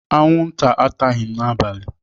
Anwụnta ataghị m n'abalị.